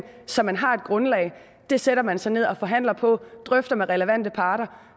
så man har et grundlag det sætter man sig ned og forhandler på og drøfter med relevante parter